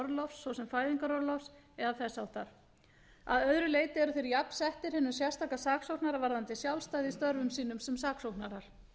orlofs svo sem fæðingarorlofs eða þess háttar að öðru leyti eru þeir jafnsettir hinum sérstaka saksóknara varðandi sjálfstæði í störfum sínum sem saksóknarar